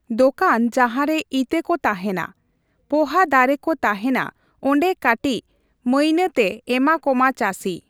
ᱫᱚᱠᱟᱱ ᱡᱟᱸᱦᱟᱨᱮ ᱤᱛᱟᱹ ᱠᱚ ᱛᱟᱸᱦᱮᱱᱟ, ᱿ᱯᱚᱦᱟ ᱫᱟᱨᱮ ᱠᱚ ᱛᱟᱸᱦᱮᱱᱟ ᱚᱱᱰᱮ ᱠᱟᱴᱤᱪ ᱢᱟᱹᱭᱱᱟᱹ ᱛᱮ ᱮᱢᱟ ᱠᱚᱢᱟ ᱪᱟᱹᱥᱤ ᱾